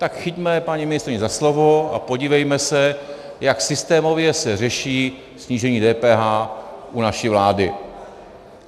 Tak chyťme paní ministryni za slovo a podívejme se, jak systémově se řeší snížení DPH u naší vlády.